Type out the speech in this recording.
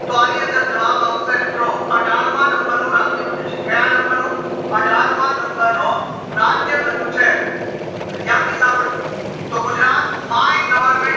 તો આની અંદર જવાબ આવશે મિત્રો અઠાર માં number નું રાજ્ય બન્યું છે ક્યાં number નું અઠાર માં number નું રાજ્ય બન્યું છે ધ્યાનથી સંભાળજો તો ગુજરાત my goverment